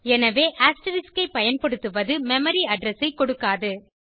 எனவே அஸ்டெரிஸ்க் ஐ பயன்படுத்துவது மெமரி அட்ரெஸ் ஐ கொடுக்காது